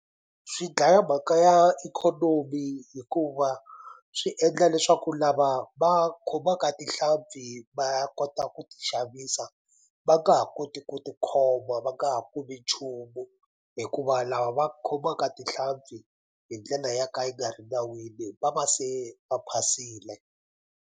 Swi dlaya mhaka ya ikhonomi hikuva swi endla leswaku lava va khomaka tinhlampfi va kota ku ti xavisa va nga ha koti ku tikhoma va nga ha kumi nchumu hikuva lava va khomaka tinhlampfi hi ndlela ya ka yi nga ri nawini va va se va phasile.